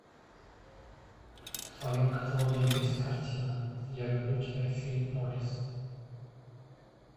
в твоем каталоге есть картина я люблю тебя филлип моррис